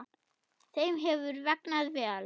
Þeim hefur vegnað vel.